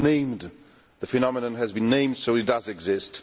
It is named the phenomenon has been named, so it does exist.